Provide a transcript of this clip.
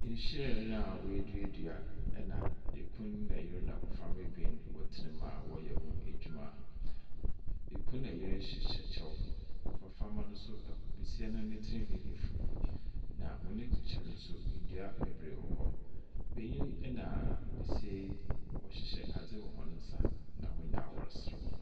Hyiren a woeduedua, na kun na yer na mboframba wotena mu a wɔreyɛ ho adwuma. Kun na yer hyehyɛ kyɛw. Mboframba no nso ɛk Besia no ne tsir nhwi efuw, na hɔn ekyir no nso ndua beberee wɔ hɔ. Benyin na besia yi, wɔhyehyɛ adze wɔ hɔn nsa, na hɔn nyina wɔreserew.